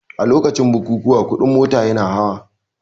A lokacin bukukuwa kuɗin mota yana hawa